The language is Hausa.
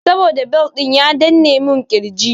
Saboda bel ɗin ya danne mun ƙirji.